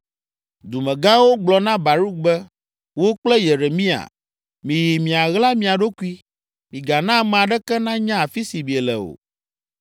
Dumegãwo gblɔ na Baruk be, “Wò kple Yeremia, miyi miaɣla mia ɖokui. Migana ame aɖeke nanya afi si miele o.”